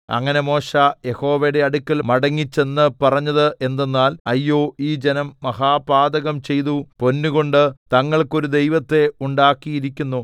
അങ്ങനെ മോശെ യഹോവയുടെ അടുക്കൽ മടങ്ങിച്ചെന്ന് പറഞ്ഞത് എന്തെന്നാൽ അയ്യോ ഈ ജനം മഹാപാതകം ചെയ്തു പൊന്നുകൊണ്ട് തങ്ങൾക്ക് ഒരു ദൈവത്തെ ഉണ്ടാക്കിയിരിക്കുന്നു